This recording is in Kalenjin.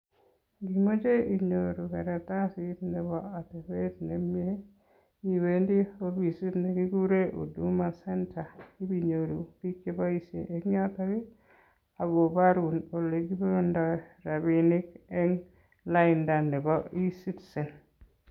Imoche inyoru karatasit Nebo atebet nemnye iwendi ofisit nekikuren huduma center inyoru biik cheboishen en yoton akoborun elekilipondoi rabinik eng lainda nebo ofisishek.